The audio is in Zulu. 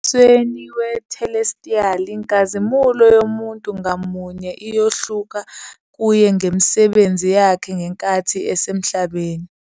Embusweni wethelestiyali, inkazimulo yomuntu ngamunye iyohluka kuye ngemisebenzi yakhe ngenkathi esemhlabeni.